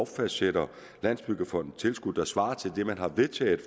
fastsætter landsbyggefondens tilskud og svarer til det man har vedtaget